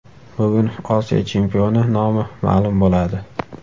Bugun Osiyo chempioni nomi ma’lum bo‘ladi.